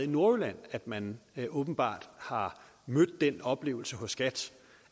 nordjylland at man åbenbart har mødt den oplevelse hos skat